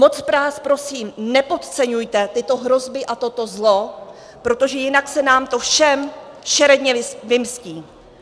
Moc vás prosím, nepodceňujte tyto hrozby a toto zlo, protože jinak se nám to všem šeredně vymstí.